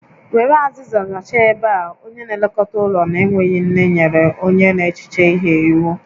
Were azịza zachaa ebe a! Onye na-elekọta ụlọ na-enweghị nne nyere onye n'echiche ihe iwu